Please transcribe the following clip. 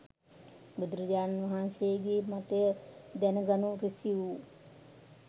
බුදුරජාණන්වහන්සේ ගේ මතය දැන ගනු රිසි වූ